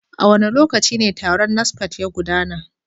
A wane lokaci taron NASFAT ya gudana?